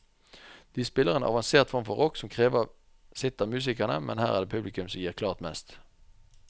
De spiller en avansert form for rock som krever sitt av musikerne, men her er det publikum som gir klart mest.